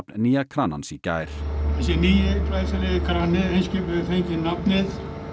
nýja kranans í gær þessi nýi glæsilegi krani Eimskips hefur fengið nafnið